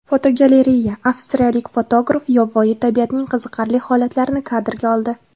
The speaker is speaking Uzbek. Fotogalereya: Avstriyalik fotograf yovvoyi tabiatning qiziqarli holatlarini kadrga oldi.